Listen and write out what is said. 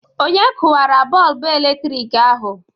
Onye kụwara bọlbụ eletrik ahụ?